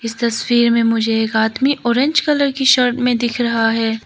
तस्वीर में मुझे एक आदमी ऑरेंज कलर की शर्ट में दिख रहा है।